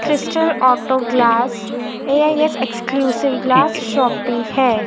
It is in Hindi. Crystal auto glass AIS exclusive glass shoppe है।